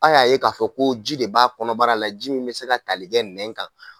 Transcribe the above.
Aw y'a ye k'a fɔ ko ji de b' a kɔnɔbara la ji min bɛ se ka tali kɛ nɛn kan.